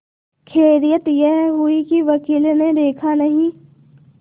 खैरियत यह हुई कि वकील ने देखा नहीं